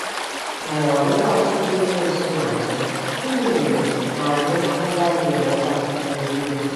N'ụwa ebe ọchịchị Ekwensu na-achị, gịnị mere na anyị agaghị enweta mmegide?